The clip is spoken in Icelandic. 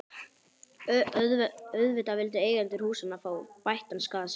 Auðvitað vildu eigendur húsanna fá bættan skaða sinn.